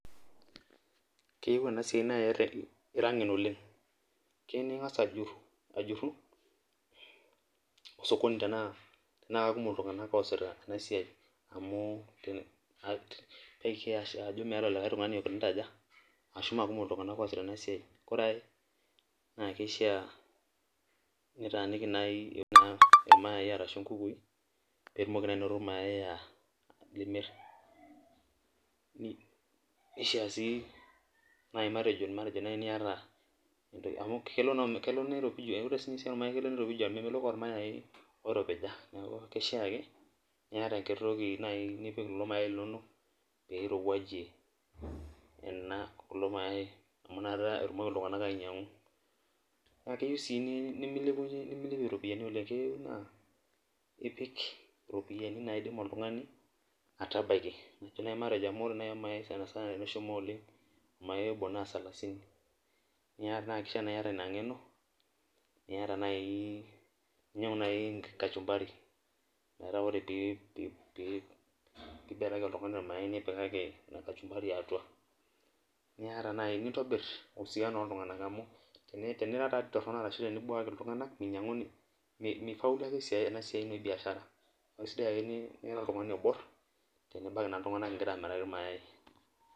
Keyieu ena siai naa ira ngen oleng, keyieu ningas ajuru, osokoni tenaa kekumok iltunganak, oosita ena siai amu, ekias ajo meeta likae tungani oikunita aje, ashu mekumok iltunganak oosita ena siai, ore ae naa kishaa nitaaniki naaji nkukui, pee itumoki naa anoto ilmayai limir, nishaa sii naaji niyata, amu kelo niropiju, memeloi olmayai, oiropija. neeku kishaa akeniata enkiti toki naaji nipik kulo mayai linonok. Pee irowuajie kulo mayai naa inakata etumoki iltunganak ainyiangu. naa keyieu sii nimilepie iropiyiani oleng, keyieu naa, ipik iropiyiani naidim oltungani, aatabaiki, amu ore naaji olmayai sanisana, teneshomo oleng, olmayai obo naa salasiini. naa kishaa niyata Ina ng'eno niata nai, ninyiangu naaji kashumpari. metaa ore pee ibelaki oltungani olmayai. nibelaki kashumpari atua. nintobiru usiano ooltunganak, teniramat torono ashu tenibuaku iltunganak, minyianguni ena siai ebiashara, neeku kishaa ake nira oltungani obore igira aamiraki iltunganak il mayai .